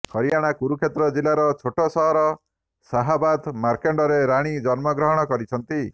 ହରିୟାଣା କୁରୁକ୍ଷେତ୍ର ଜିଲ୍ଲାର ଛୋଟ ସହର ଶାହାବାଦ ମାର୍କଣ୍ଡରେ ରାଣୀ ଜନ୍ମଗ୍ରହଣ କରିଛନ୍ତି